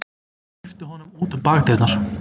Ég hleypti honum út um bakdyrnar.